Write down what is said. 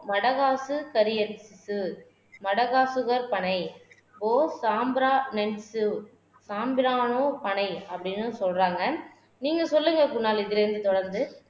வடைவாசு மடகாசுவர் பனை பனை அப்படின்னு சொல்றாங்க நீங்க சொல்லுங்க குணால் இதுலிருந்து தொடர்ந்து